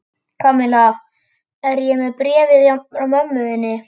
Kamilla, ég er með bréfið frá mömmu þinni.